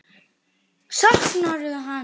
Saknarðu hans?